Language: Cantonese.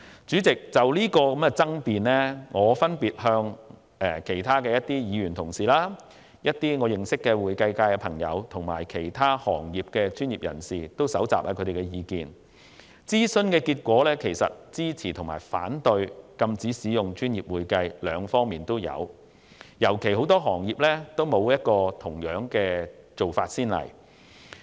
主席，就有關爭辯，我曾分別徵詢其他議員、我認識的會計界朋友和其他行業專業人士的意見，對於禁止使用"專業會計"的稱謂，支持和反對的意見都有，尤其由於很多行業均沒有同樣做法的先例。